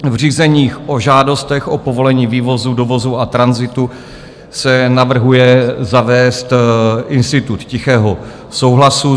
V řízeních o žádostech o povolení vývozu, dovozu a tranzitu se navrhuje zavést institut tichého souhlasu.